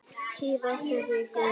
Í síðustu viku.